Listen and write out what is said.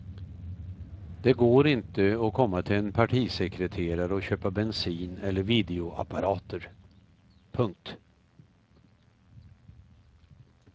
Det går inte att komma till en partisekreterare och köpa bensin eller videoapparater. punkt